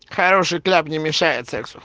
хороший кляп не мешает сексу